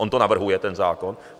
On to navrhuje, ten zákon.